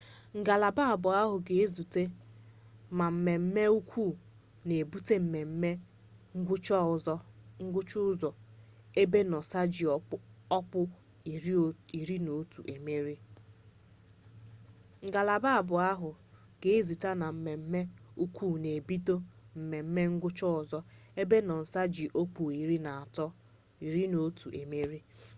ngalaba abụọ ahụ ga-ezute na mmeme ukwu n'ebute mmeme ngwụcha ụzọ ebe noosa ji ọkpụ iri na otu emerie